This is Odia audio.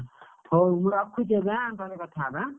ହଉ ମୁଁ ରଖୁଚି ଏବେ ଏଁ ପରେ କଥା ହବା ଏଁ,